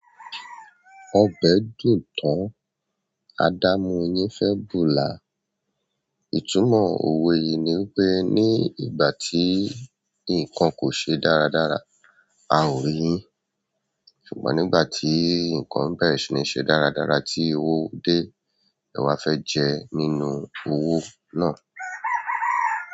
Ọbẹ dùn tán, adámu yin fe bú là. Itúmọ òwe yi ni pé ni ìgbà ti nkán kò se dáradára a ò yin, ṣùgbọ̀n nígbà ti nkán bèṣiniṣe dáradára ti owó de, e wa fe je nínú owó náà.